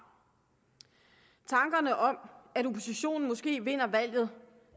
tankerne om at oppositionen måske vinder valget